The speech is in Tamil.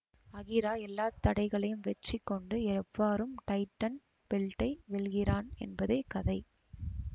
அகிரா எல்ல தடைகளையும் வெற்றிக்கொண்டு எவ்வாறும் டைட்டன் பெல்ட்டை வெல்கிறான் என்பதே கதை